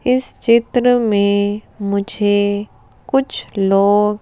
इस चित्र में मुझे कुछ लोग--